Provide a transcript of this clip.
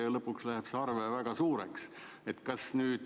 Ja lõpuks läheb see arve väga suureks.